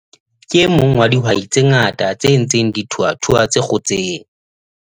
Ke e mong wa dihwai tse ngata tse ntseng di thuthua tse kgotseng